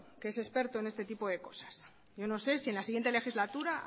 que es experto en este tipo de cosas yo no sé si en la siguiente legislatura